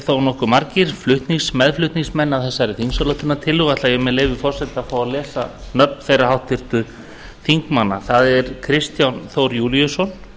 þó nokkuð margir meðflutningsmenn að þessari tillögu og ætla ég með leyfi forseta að fá að lesa nöfn þeirra háttvirtra þingmanna það eru kristján þór júlíusson